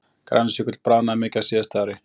Grænlandsjökull bráðnaði mikið á síðasta ári